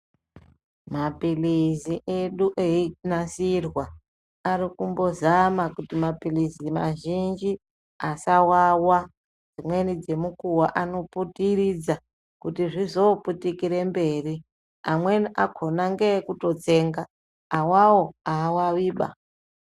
Mapilizi edu einasirwa ari kumbozama kuti mapilizi mazhinji asawawa dzimweni dzenguwa anoputiridza kuti zvizo putikire mberi amweni akhona ngeekutitsenga awawo awawiba.